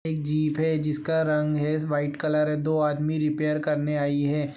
एक जीप है जिसका रंग है व्हाइट कलर है दो आदमी रिपेयर करने आई है।